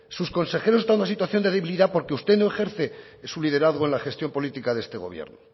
sus consejeros están en una situación de debilidad porque usted no ejerce su liderazgo en la gestión política de este gobierno